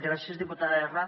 gràcies diputada erra